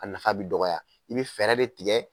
A nafa bɛ dɔgɔya i bɛ fɛɛrɛ de tigɛ.